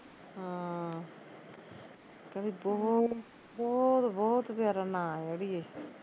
ਹਾਂ ਕਹਿੰਦੀ ਬਹੁਤ ਬਹੁਤ ਬਹੁਤ ਪਿਆਰਾ ਨਾ ਐ ਅੜੀਏ